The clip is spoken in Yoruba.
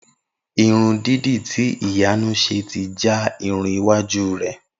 Irun dídì tí Ìyanu s̩e ti já irun iwájú rè̩